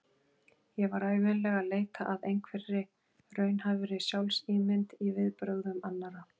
Ég var ævinlega að leita að einhverri raunhæfri sjálfsímynd í viðbrögðum annarra.